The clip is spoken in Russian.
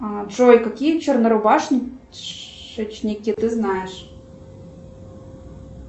джой какие чернорубашечники ты знаешь